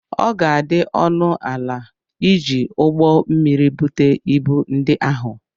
Ọ ga-adị ọnụ ala iji ụgbọ mmiri bute ibu ndi ahụ.